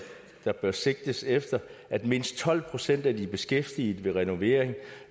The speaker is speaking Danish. der bør sigtes efter at mindst tolv procent af de beskæftigede ved renovering